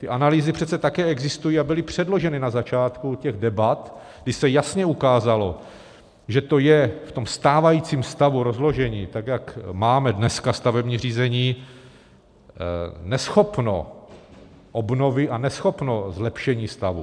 Ty analýzy přece také existují a byly předloženy na začátku těch debat, kdy se jasně ukázalo, že to je v tom stávajícím stavu rozložení tak, jak máme dneska stavební řízení, neschopno obnovy a neschopno zlepšení stavu.